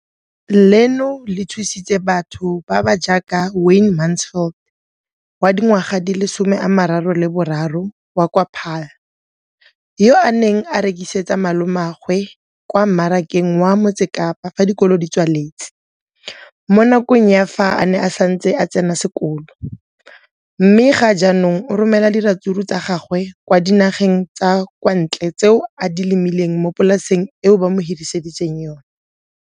Leno le thusitse batho ba ba jaaka Wayne Mansfield, 33, wa kwa Paarl, yo a neng a rekisetsa malomagwe kwa Marakeng wa Motsekapa fa dikolo di tswaletse, mo nakong ya fa a ne a santse a tsena sekolo, mme ga jaanong o romela diratsuru tsa gagwe kwa dinageng tsa kwa ntle tseo a di lemileng mo polaseng eo ba mo hiriseditseng yona.